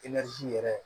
yɛrɛ